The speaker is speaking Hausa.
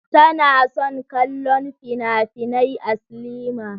Tana son kallon finafinai a silima.